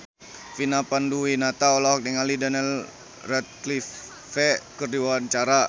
Vina Panduwinata olohok ningali Daniel Radcliffe keur diwawancara